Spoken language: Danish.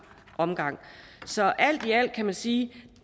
omgang så alt i alt kan man sige at